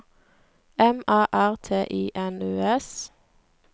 M A R T I N U S